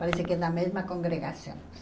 Parece que é da mesma congregação.